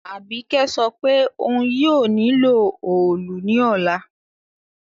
Àbíkẹ́ sopé oun yio nílò òòlù ní òla